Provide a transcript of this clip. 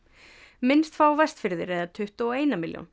minnst fá Vestfirðir eða tuttugu og eina milljón